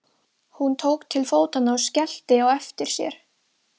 Hún tók til fótanna og skellti á eftir sér.